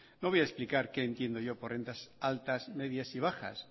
no voy a explicar qué entiendo yo por rentas altas medias y bajas